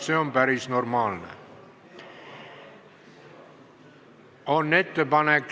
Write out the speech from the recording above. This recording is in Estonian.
See on päris normaalne.